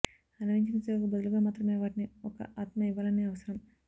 అన్వయించిన సేవకు బదులుగా మాత్రమే వాటిని ఒక ఆత్మ ఇవ్వాలని అవసరం